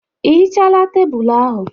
Ị hichala tebụlụ ahụ?